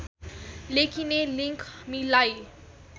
लेखिने लिङ्क मिलाई